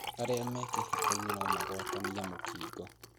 Arĩa me kĩhikoinĩ nomagwatanie mũkingo